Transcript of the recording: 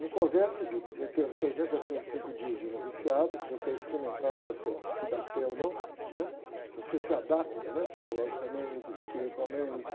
No convento é o seguinte, tem uns trezentos e sessenta e cinco dias de noviciado, que você é experimentado para você ver dar pé ou não, se você se adapta psicologicamente, espiritualmente.